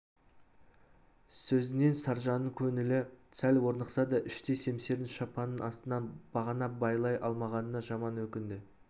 сөзінен саржанның көңілі сәл орнықса да іштей семсерін шапанының астынан бағана байлай алмағанына жаман өкінді